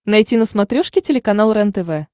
найти на смотрешке телеканал рентв